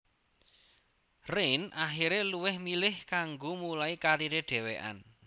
Rain akiré luwih milih kanggo mulai kariré dhewekan